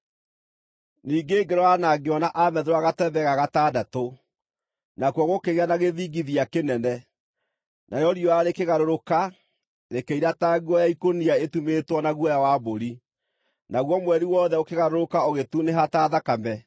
Ningĩ ngĩrora na ngĩona aamethũra gatembe ga gatandatũ. Nakuo gũkĩgĩa na gĩthingithia kĩnene. Narĩo riũa rĩkĩgarũrũka, rĩkĩira ta nguo ya ikũnia ĩtumĩtwo na guoya wa mbũri, naguo mweri wothe ũkĩgarũrũka, ũgĩtunĩha ta thakame,